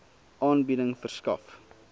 aanbieding verskaf